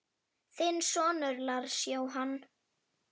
Þinn sonur, Lars Jóhann.